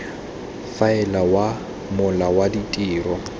faela wa mola wa ditiro